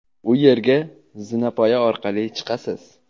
u yerga zinapoya orqali chiqasiz!.